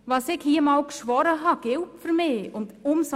Was ich hier einmal geschworen habe, gilt für mich.